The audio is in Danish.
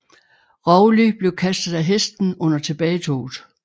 Rowley blev kastet af hesten under tilbagetoget